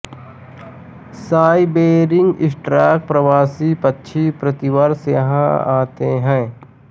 Siberian stork प्रवासी पक्षी प्रतिवर्ष यहां आते हैं